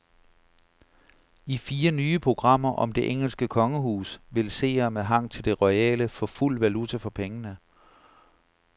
I fire nye programmer om det engelske kongehus vil seere med hang til det royale få fuld valuta for pengene.